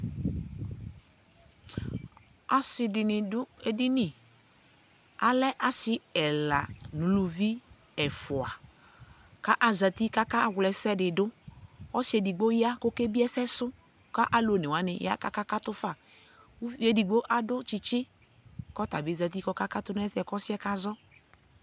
asii dini dʋ ɛdini, alɛ asii ɛla nʋʋlʋvi ɛƒʋa kʋ azati kʋ aka wlɛsɛ didʋ, ɔsii ɛdigbɔ ya kʋ ɛkɛ biɛ ɛsɛ sʋ kʋ alʋ ɔnɛ wani ya kʋ akakatʋ tʋ ƒa, ʋviɛ ɛdigbɔ adʋ kyikyi kʋ atabi zati kʋ ɔkakatʋ nʋ ɛsɛkʋ aka zɔ